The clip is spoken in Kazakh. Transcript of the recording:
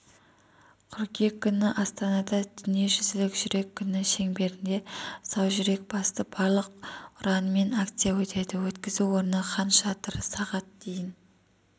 қыркүйек күні астанала дүниежүзілік жүрек күні шеңберінде сау жүрек басты байлық ұранымен акция өтеді өткізу орны хан шатыр сағат дейін